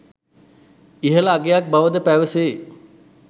ඉහළ අගයක් බවද පැවසේ.